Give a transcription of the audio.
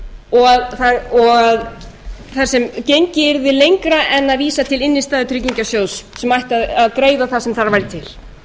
og þar sem gengið yrði lengra en að vísa til innstæðutryggingasjóðs sem ætti að greiða það sem þar væri til þetta er stóri einstaki reikningurinn